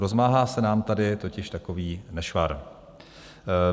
Rozmáhá se nám tady totiž takový nešvar.